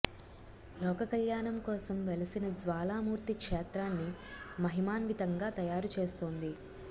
లోక కల్యాణం కోసం వెలసిన జ్వాలామూర్తి క్షేత్రాన్ని మహిమాన్వితంగా తయారు చేస్తోంది